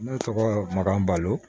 Ne tɔgɔ maka balo